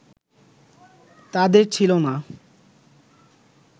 তাঁদের ছিল না